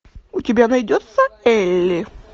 у тебя найдется элли